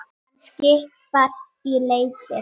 Þá verði hann sáttur.